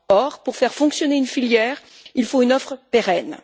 or, pour faire fonctionner une filière, il faut une offre durable.